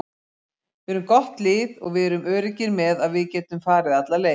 Við erum gott lið og við erum öruggir með að við getum farið alla leið.